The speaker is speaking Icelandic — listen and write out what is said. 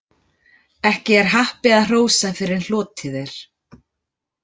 Ekki er happi að hrósa fyrr en hlotið er.